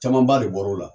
Camanba de bɔr'o la